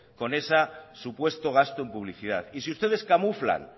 con ese supuesto gasto en publicidad y si ustedes camuflan